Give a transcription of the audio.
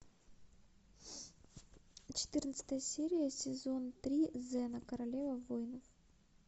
четырнадцатая серия сезон три зена королева воинов